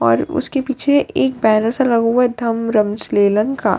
और उसके पीछे एक बैनर सा लगा हुआ हैं थंब रुम्ब श्रीलंका --